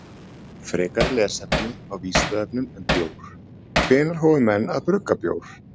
Frekara lesefni á Vísindavefnum um bjór: Hvenær hófu menn að brugga bjór?